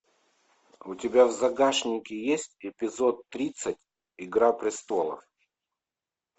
у тебя в загашнике есть эпизод тридцать игра престолов